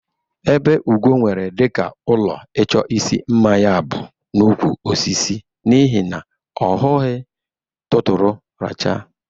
Ebe Ugo nwere dịka ụlọ ịchọ isi mma ya bụ n'ukwu osisi n'ihi na ọ hughi tụtụrụ racha.